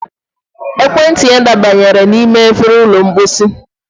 ekwentị ya dabanyere n'ime efere ụlọ mposi